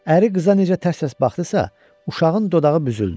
Əri qıza necə tərs-tərs baxdısa, uşağın dodağı büzüldü.